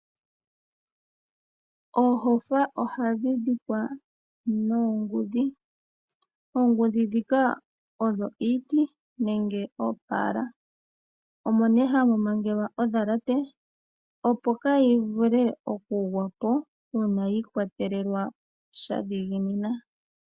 Oohofa ohadhi dhikwa noongudhi. Oongudhi dhika odho iiti nenge oopala omo ne hamu mangelwa odhalate opo kayi vule okugwa po uuna yiikwatelelwa sha dhigininwa.